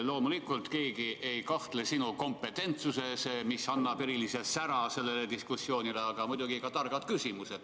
Loomulikult, keegi ei kahtle sinu kompetentsuses, mis annab erilise sära sellele diskussioonile, aga muidugi ka targad küsimused.